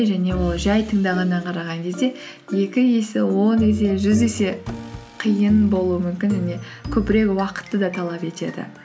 және ол жай тыңдағаннан қараған кезде екі есе он есе жүз есе қиын болуы мүмкін және көбірек уақытты да талап етеді